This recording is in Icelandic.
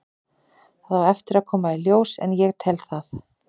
Það á eftir að koma í ljós en ég tel það.